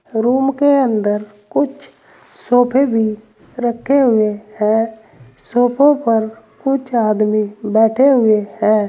Room के अंदर कुछ सोफे भी रखे हुए हैं सोफों पर कुछ आदमी बैठे हुए हैं।